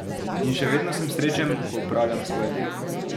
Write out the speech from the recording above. In še vedno sem srečen, ko opravljam svoje delo.